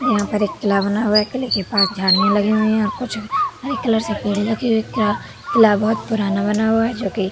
यहाँ पर एक किला बना हुआ है। किले के पास झाड़ियाँ लगी हुईं हैं और कुछ हरे कलर से पेड़ लगे हुए हैं। किरा किला बहोत पुराना बना हुआ है जो कि --